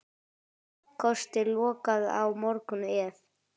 Kosti lokað á morgun ef.